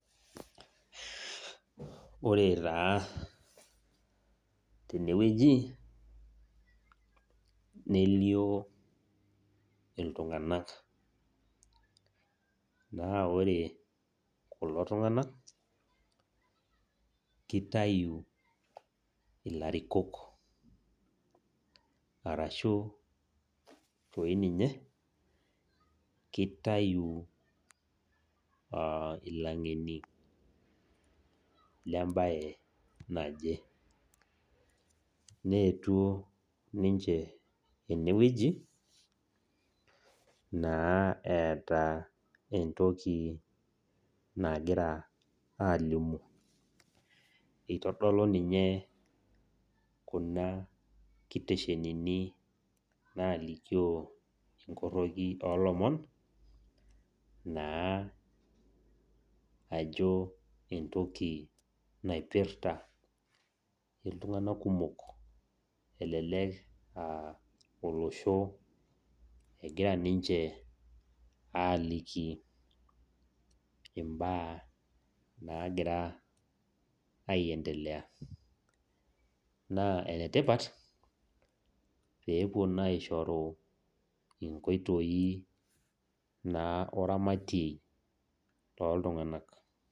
Ore taa tenewueji, nelio iltung'anak. Na ore kulo tung'anak, kitayu ilarikok, arashu toi ninye, kitayu ilang'eni lebae naje. Neetuo ninche enewueji, naa eeta entoki nagira alimu. Itodolu ninye kuna kiteshenini nalikio inkorroki olomon, naa ajo entoki naipirta iltung'anak kumok. Elelek ah olosho egira aliki imbaa nagira aiendelea. Naa enetipat, pepuo naa aishoru inkoitoii naa oramatie loltung'anak.